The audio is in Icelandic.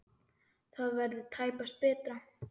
Það verður tæpast betra.